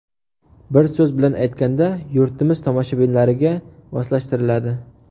Bir so‘z bilan aytganda, yurtimiz tomoshabinlariga moslashtiriladi.